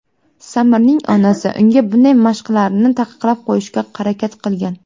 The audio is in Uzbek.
Samirning onasi unga bunday mashqlarni taqiqlab qo‘yishga harakat qilgan.